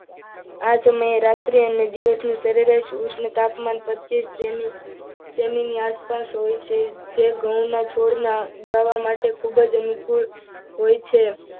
આ સમયે રાત્રે અને દિવસે સરેરાશણ તાપમાન પચીસ સેમી ની આસપાસ હોય છે. જે ઘઉંના છોડને ઉગાડવા માટે ખૂબ જ અનુકૂળ હોય છે.